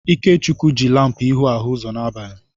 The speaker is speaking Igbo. Ikechukwu jị lampu ịhụ hụ ụzọ n'abalị.